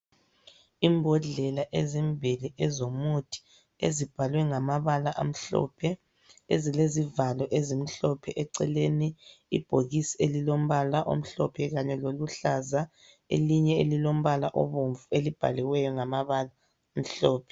Imbodlela ezimbili ezomuthi ezibhalwe ngamabala amhlophe, ezilezivalo ezimhlophe eceleni. Ibhokisi elilombala omhlophe kanye loluhlaza, elinye elilombala obomvu elibhaliweyo ngamabala amhlophe.